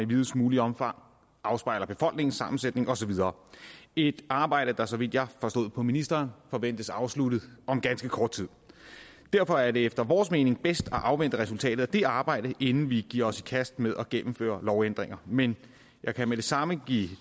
videst muligt omfang afspejler befolkningssammensætningen og så videre et arbejde der så vidt jeg forstod på ministeren forventes afsluttet om ganske kort tid derfor er det efter vores mening bedst at afvente resultatet af det arbejde inden vi giver os i kast med at gennemføre lovændringer men jeg kan med det samme give